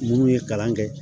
Munnu ye kalan kɛ